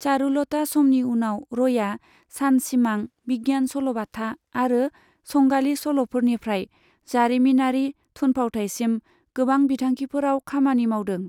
चारुलता समनि उनाव, रयआ सानसिमां, बिगियान सल'बाथा, आरो संगालि सल'फोरनिफ्राय जारिमिनारि थुनफावथाइसिम गोबां बिथांखिफोराव खामानि मावदों।